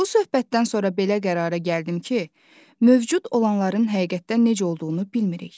Bu söhbətdən sonra belə qərara gəldim ki, mövcud olanların həqiqətdə necə olduğunu bilmirik.